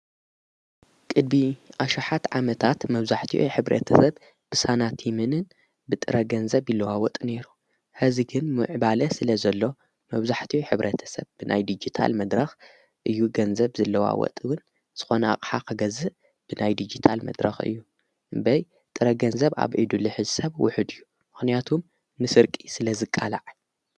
ቅድሚ ኣሽሃትት ዓመታት መብዛሕትዩ ሕብረተሰብ ብሳናቴምንን ብጥረገንዘብ ኢለዋወጥ ነይሩ ሕዚ ግን ምዕባለ ስለ ዘሎ መውዙሕትዩ ኅብረ ተሰብ ብናይ ዲጊታል መድራኽ እዩ ገንዘብ ዘለዋወጥውን ዝኾኑቕሓኸገዝእ ብናይ ዲጊታል መድራኽ እዩ እምበይ ጥረገንዘብ ኣብ ዒዱልኁ ሰብ ውኁድ እዩ ምሕንያቱም ንስርቂ ስለ ዝቃልዕ።